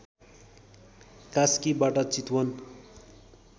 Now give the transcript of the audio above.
कास्कीबाट Chitwan